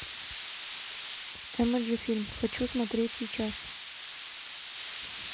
эмоджи фильм хочу смотреть сейчас